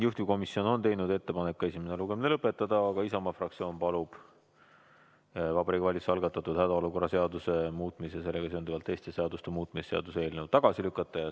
Juhtivkomisjon on teinud ettepaneku esimene lugemine lõpetada, aga Isamaa fraktsioon palub Vabariigi Valitsuse algatatud hädaolukorra seaduse muutmise ja sellega seonduvalt teiste seaduste muutmise seaduse eelnõu tagasi lükata.